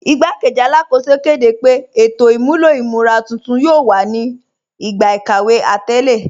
Ìgbàkẹ́jì Alákóṣò kẹ́dẹ́ pé ètò imúlọ̀ imúra tuntun yóò wà ní ìgbà ikàwé atẹlẹ.